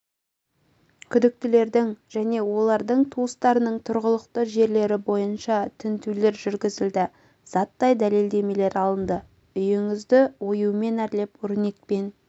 күдіктілердің және олардың туыстарының тұрғылықты жерлері бойынша тінтулер жүргізілді заттай дәлелдемелер алынды үйіңізді оюмен әрлеп өрнекпен